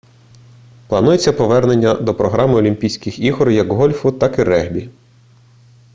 планується повернення до програми олімпійських ігор як гольфу так і регбі